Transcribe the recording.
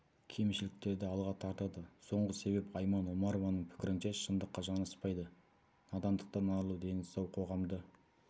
кемшіліктерді алға тартады соңғы себеп айман омарованың пікірінше шындыққа жанаспайды надандықтан арылу дені сау қоғамды